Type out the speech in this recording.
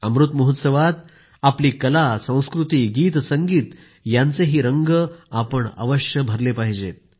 अमृत महोत्सवात आपली कला संस्कृती गीत संगीत यांचे रंग अवश्य भरले पाहिजेत